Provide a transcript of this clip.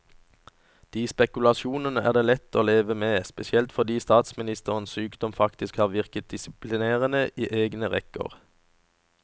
De spekulasjonene er det lettere å leve med, spesielt fordi statsministerens sykdom faktisk har virket disiplinerende i egne rekker.